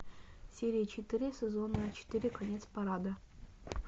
серия четыре сезона четыре конец парада